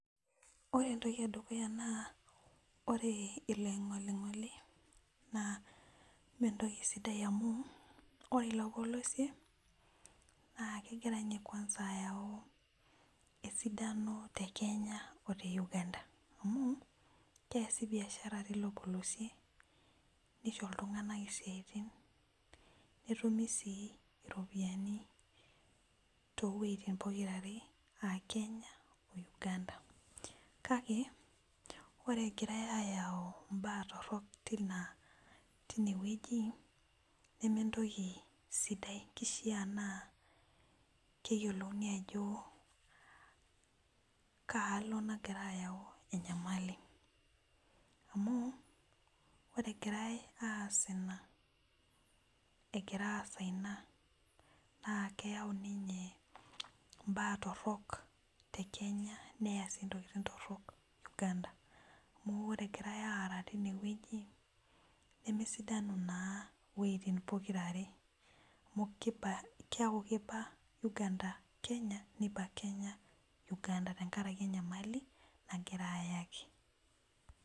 ore entoki edukuya naa ore oloing'oling'oli naa mme entoki sidai amu ore ilopolesie naa kegira ninye kuansa ayau esidano te Kenya o te Uganda .amu keesi biashara teilo polosie neisho iltunganak isiatin. netumi sii iropiyiani too wueitin pokira are aa kenya, o Uganda .kake ore egirae aayau imbaa torok teine wueji, neme entoki sidai kishaa naa keyiolouni ajo kaalo nagira ayau enyamali. amu ore egirae as ina. egira aasa ina. naa keyau ninye imbaa torok te kenya. neyau sii ntokitin torok uganda. amu oe egirae aara teine wueji nemesidanu naa iwueitin pikra are. amu keeku kiba uganda kenya niba kenya uganda tenkaraki enyamali nagira aayaki.